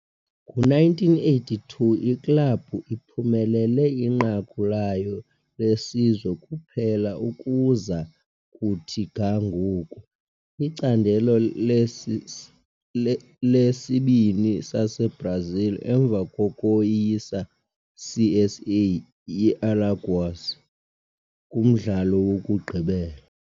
Ngo-1982, iklabhu iphumelele inqaku layo lesizwe kuphela ukuza kuthi ga ngoku, iCandelo leSibini saseBrazil, emva kokoyisa CSA ye-Alagoas kumdlalo wokugqibela.